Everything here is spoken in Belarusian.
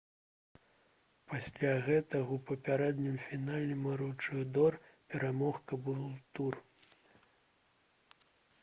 пасля гэтага ў папярэднім фінале маручыдор перамог кабултур